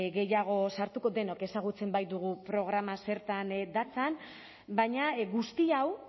gehiago sartuko denok ezagutzen baitugu programa zertan datzan baina guzti hau